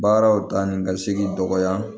Baaraw ta ni ka segi dɔgɔya